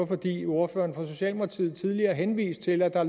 fordi ordføreren for socialdemokraterne tidligere henviste til at der